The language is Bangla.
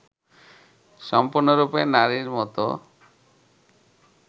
সম্পূর্ণরূপে নারীর মতো